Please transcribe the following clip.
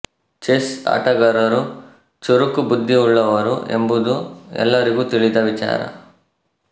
chess ಆಟಗಾರರು ಚುರುಕು ಬುದ್ಧಿಯುಳ್ಳವರು ಎಂಬುದು ಎಲ್ಲರಿಗೂ ತಿಳಿದ ವಿಚಾರ